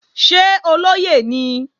Ṣé olóyè ni?